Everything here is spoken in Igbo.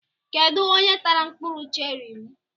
Kedụ onye tara mkpụrụ cherị m?